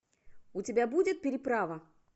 у тебя будет переправа